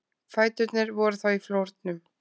Fæturnir voru þá í flórnum.